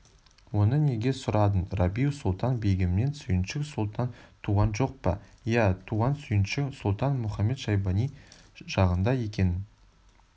оны неге сұрадың рабиу-сұлтан-бегімнен сүйіншік сұлтан туған жоқ па иә туған сүйіншік сұлтан мұхамед-шайбани жағында екенін